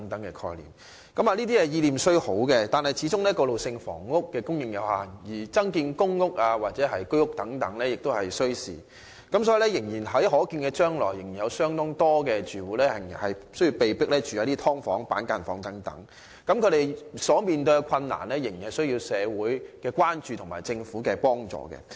政府的意念雖好，但過渡性房屋的供應始終有限，而增建公屋或居屋等需時，因此在可見將來，仍有相當多住戶被迫入住"劏房"或板間房，他們所面對的問題，仍需社會關注和政府幫助。